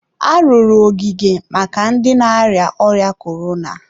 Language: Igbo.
arụrụ ogige maka ndị na-arịa ọrịa korona.